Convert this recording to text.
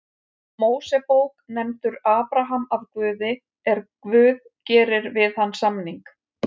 Mósebók nefndur Abraham af Guði er Guð gerir við hann samning: